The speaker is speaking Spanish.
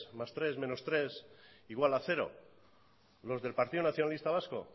más tres menos tres igual a cero los del partido nacionalista vasco